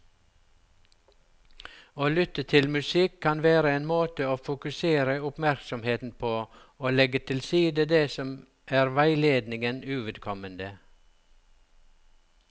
Å lytte til musikk kan være en måte å fokusere oppmerksomheten på og legge til side det som er veiledningen uvedkommende.